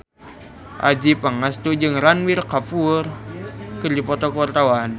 Adjie Pangestu jeung Ranbir Kapoor keur dipoto ku wartawan